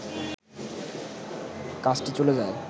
কাজটি চলে যায়